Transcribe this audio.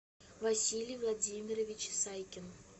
василий владимирович сайкин